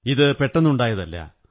ഇത് പെട്ടെന്നുണ്ടായതല്ല